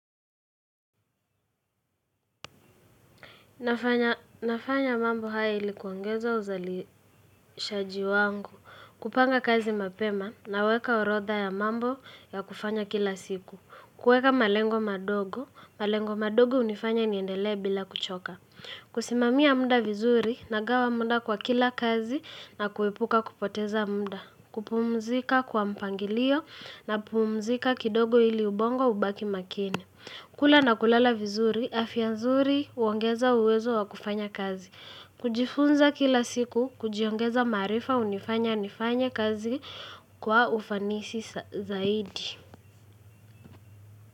Nafanya mambo haya ili kuongeza uzalishaji wangu, kupanga kazi mapema na weka orodha ya mambo ya kufanya kila siku. Kueka malengo madogo, malengo madogo hunifanya niendele bila kuchoka. Kusimamia muda vizuri nagawa muda kwa kila kazi na kuepuka kupoteza muda. Kupumzika kwa mpangilio, napumzika kidogo ili ubongo ubaki makini kula na kulala vizuri, afya nzuri huongeza uwezo wakufanya kazi. Kujifunza kila siku, kujiongeza maarifa hunifanya nifanye kazi kwa ufanisi zaidi.